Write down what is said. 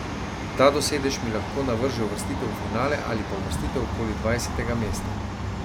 Ta dosežek mi lahko navrže uvrstitev v finale ali pa uvrstitev okoli dvajsetega mesta.